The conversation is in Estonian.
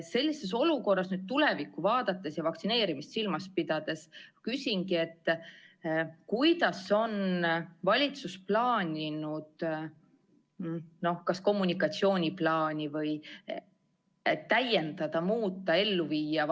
Sellises olukorras tulevikku vaadates ja vaktsineerimist silmas pidades ma küsingi, kuidas on valitsus plaaninud kas kommunikatsiooniplaani täiendada, muuta või ellu viia.